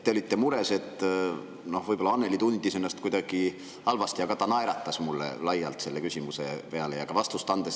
Te olite mures, et võib-olla Annely tundis ennast kuidagi halvasti, aga ta naeratas mulle laialt selle küsimuse peale ja ka vastust andes.